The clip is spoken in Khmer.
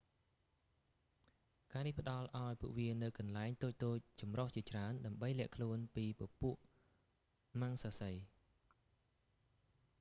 ការនេះផ្តល់ឱ្យពួកវានូវកន្លែងតូចៗចម្រុះជាច្រើនដើម្បីលាក់ខ្លួនពីពពួកមំសាសី